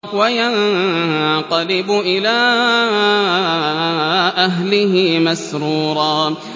وَيَنقَلِبُ إِلَىٰ أَهْلِهِ مَسْرُورًا